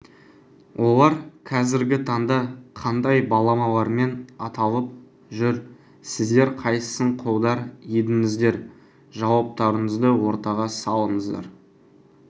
олар қазіргі таңда қандай баламалармен аталып жүр сіздер қайсысын қолдар едіңіздер жауаптарыңызды ортаға салыңыздар